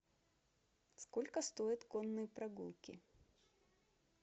сколько стоят конные прогулки